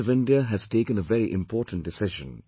The Government of India has taken a very important decision